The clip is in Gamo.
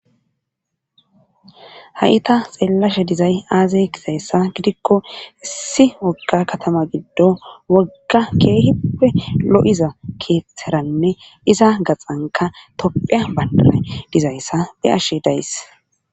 Ha'i ta xeellashe dizay aazey kizayssa gidikko issi ogga katama giddo wogga keehippe lo7iza keeththeranne iza gaxanka topphea bayndan dizayssa be ashe days.